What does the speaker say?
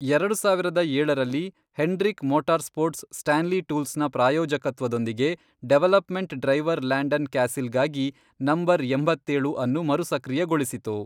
ಎರಡು ಸಾವಿರದ ಏಳ ರಲ್ಲಿ, ಹೆಂಡ್ರಿಕ್ ಮೋಟಾರ್‌ಸ್ಪೋರ್ಟ್ಸ್ ಸ್ಟಾನ್ಲಿ ಟೂಲ್ಸ್‌ನ ಪ್ರಾಯೋಜಕತ್ವದೊಂದಿಗೆ ಡೆವಲಪ್‌ಮೆಂಟ್ ಡ್ರೈವರ್ ಲ್ಯಾಂಡನ್ ಕ್ಯಾಸಿಲ್‌ಗಾಗಿ ನಂ. ಎಂಬತ್ತೇಳು ಅನ್ನು ಮರುಸಕ್ರಿಯಗೊಳಿಸಿತು.